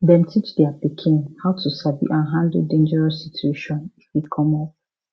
dem teach their pikin how to sabi and handle dangerous situation if e come up